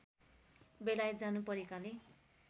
बेलायत जानु परेकाले